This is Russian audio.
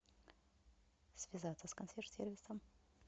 связаться с консьерж сервисом